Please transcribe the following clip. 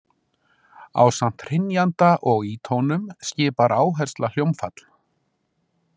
Ásamt hrynjanda og ítónun skipar áhersla hljómfall.